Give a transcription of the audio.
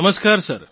નમસ્કાર સર